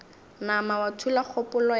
nama wa thula kgopolo ya